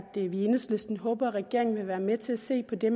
i enhedslisten håber at regeringen vil være med til at se på det